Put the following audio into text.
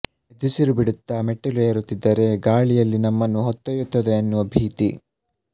ಏದುಸಿರು ಬಿಡುತ್ತಾ ಮೆಟ್ಟಿಲು ಏರುತ್ತಿದ್ದರೆ ಗಾಳಿ ಎಲ್ಲಿ ನಮ್ಮನ್ನು ಹೊತ್ತೊಯ್ಯುತ್ತದೊ ಎನ್ನುವ ಭೀತಿ